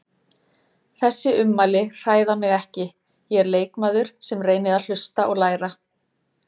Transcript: Þessi ummæli hræða mig ekki, ég er leikmaður sem reyni að hlusta og læra.